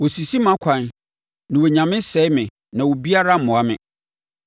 Wɔsisi mʼakwan; na wɔnya me sɛe me na obiara mmoa me.